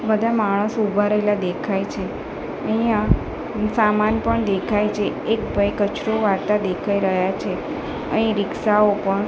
બધા માણસો ઊભા રહેલા દેખાય છે અહિંયા સામાન પણ દેખાય છે એક ભઈ કચરો વાળતા દેખાય રહ્યા છે અહીં રીક્ષાઓ પણ --